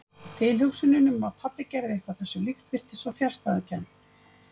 Tilhugsunin um að pabbi gerði eitthvað þessu líkt virtist svo fjarstæðukennd.